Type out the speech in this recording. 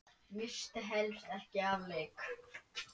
Missti helst ekki af leik.